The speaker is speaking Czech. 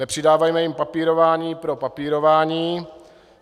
Nepřidávejme jim papírování pro papírování.